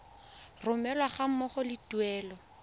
romelwa ga mmogo le tuelo